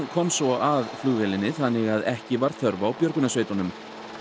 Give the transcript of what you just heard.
komst svo að flugvélinni þannig að ekki var þörf á björgunarsveitunum